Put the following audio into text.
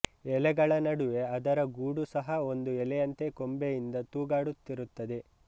ಎಲೆಗಳ ನಡುವೆ ಅದರ ಗೂಡು ಸಹ ಒಂದು ಎಲೆಯಂತೆ ಕೊಂಬೆಯಿಂದ ತೂಗಾಡುತ್ತಿರುತ್ತದೆ